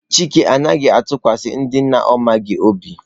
Chike anaghi atukwasi ndị na ọ maghị obi.